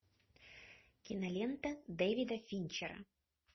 кинолента дэвида финчера